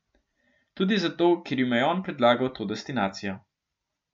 Tudi zato, ker jima je on predlagal to destinacijo.